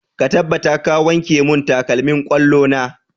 Ka tabbata ka wanke mun takalmin ƙwallo na!